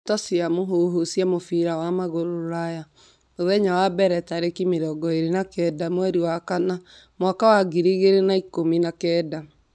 Ndeto cia mũhuhu cia mũbira wa magũrũ Rũraya mũthenya wa mbere tarĩki mĩrongo ĩrĩ na kenda mweri wa kana mwaka wa ngiri igĩrĩ na ikũmi na kenda.